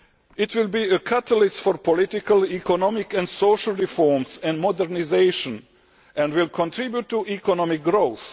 It will be a catalyst for political, economic and social reforms and modernisation and will contribute to economic growth.